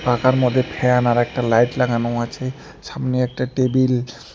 পাখার মধ্যে ফ্যান আর একটা লাইট লাগানো আছে সামনে একটা টেবিল --